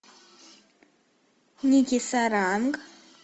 ники саранг